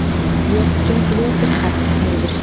Ég geng löturhægt niður stigann.